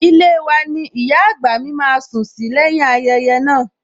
Ilée wa ni ìyá àgbà mi máa sùn sí lẹ́yìn-ín ayẹyẹ naa